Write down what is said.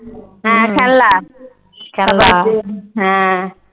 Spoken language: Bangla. হ্যাঁ খেলনা হ্যাঁ ।